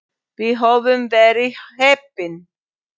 Við höfum verið heppin.